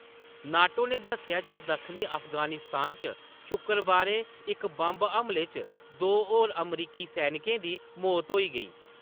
NATO ने दस्सेआ जे दक्खनी अफगानिस्तान च शुक्रेंकरबारें इक बंब हमले च दो होर अमरीकी सैनिकें दी मौत होई गेई।